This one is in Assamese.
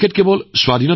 তেওঁ আছিল অতি দূৰদৰ্শী